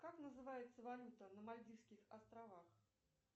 как называется валюта на мальдивских островах